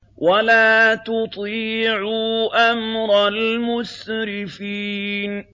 وَلَا تُطِيعُوا أَمْرَ الْمُسْرِفِينَ